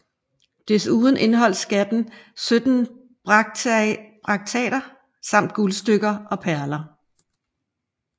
Desuden indeholdt skatten 17 brakteater samt guldstykker og perler